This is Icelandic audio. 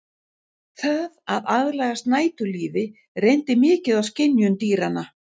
Það að aðlagast næturlífi reyndi mikið á skynjun dýranna.